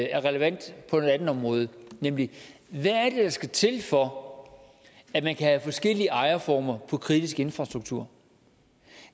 er relevant på et andet område nemlig hvad er skal til for at man kan have forskellige ejerformer på kritisk infrastruktur